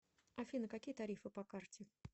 афина какие тарифы по карте